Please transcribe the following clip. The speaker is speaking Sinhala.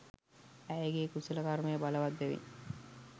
ඇයගේ් කුසල කර්මය බලවත් බැවින්